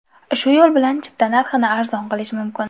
Shu yo‘l bilan chipta narxini arzon qilish mumkin.